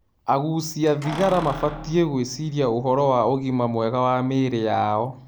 Agucia thigara mabatiĩ gwĩciria ũhoro wa ũgima mwega wa mĩĩri yao